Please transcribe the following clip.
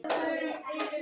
Knús til þín.